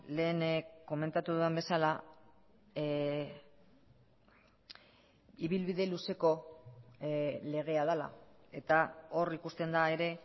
lehen komentatu dudan bezala ibilbide luzeko legea dela eta hor ikusten da ere